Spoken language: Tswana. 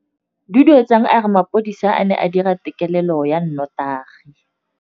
Duduetsang a re mapodisa a ne a dira têkêlêlô ya nnotagi.